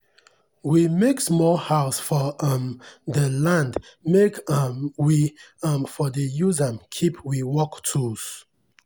we make small house for um dey land make um we um for dey use am keep we work tools